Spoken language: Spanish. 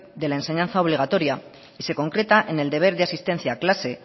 de la enseñanza obligatoria y se concreta en el deber de asistencia a clase